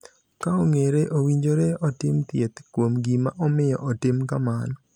Ka ong’ere, owinjore otim thieth kuom gima omiyo otimo kamano.